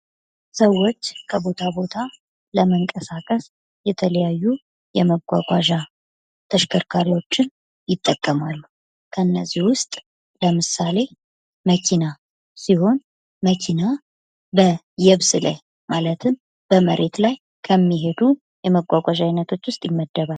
ሰዎች ከቦታ ቦታ ለመንቀሳቀስ የተለያዩ የመጓጓዣ ተሽከርካሪዎች ይጠቀማሉ። ከእነዚህ ውስጥ ለምሳሌ መኪና ሲሆን፤ መኪና በየብስ ላይ ማለትም በመሬት ላይ ከሚሄዱ የመጓጓዣ ዓይነቶች ውስጥ ይመደባል።